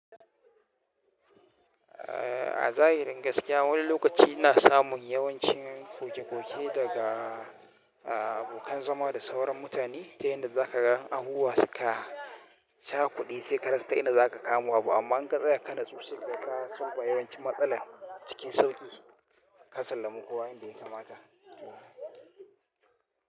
A zahirin gaskiya wani lokaci ina samun yawancin koke-koke daga abokan zama da sauran mutane ta yadda za ka gan abubuwa suka chakude sai ka rasa ta inda za ka kama abu, amma in ka tsaya ka natsu sai kaga ka solving yawancin matsalan cikin sauƙi ka sallami kowa yanda ya kamata.